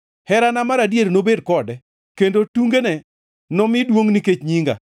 Herana mar adier nobed kode, kendo tungene nomi duongʼ nikech nyinga.